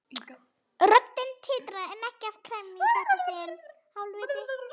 Röddin titraði en ekki af gremju í þetta sinn.